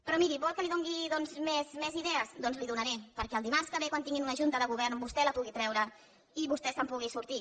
però miri vol que li doni més idees doncs li’n donaré perquè dimarts que ve quan tinguin una junta de govern vostè les pugui treure i vostè se’n pugui sortir